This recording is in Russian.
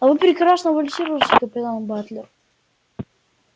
а вы прекрасно вальсируете капитан батлер